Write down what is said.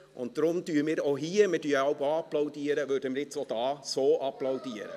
Wir applaudieren manchmal ja auch selbst, und deshalb applaudieren wir hier nun auch auf diese Art.